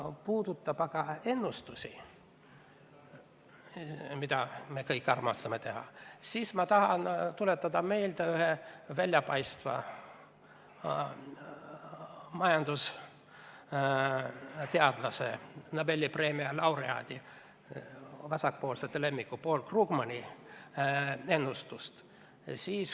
Mis puudutab ennustusi, mida me kõik armastame teha, siis tahan ma tuletada meelde ühe väljapaistva majandusteadlase, Nobeli preemia laureaadi, vasakpoolsete lemmiku Paul Krugmani ennustust.